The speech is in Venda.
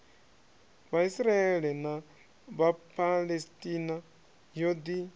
vhaisraele na vhaphalestina yo ḓi